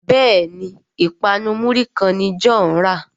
Béèni ipanu muri kán ní John rà.